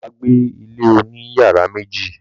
Bàbá gba ilé òní yàrá méjì.